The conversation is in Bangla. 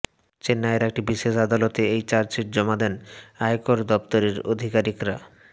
চেন্নাইয়ের একটি বিশেষ আদালতে এই চার্জশিট জমা দেন আয়কর দফতরের আধিকারিকরা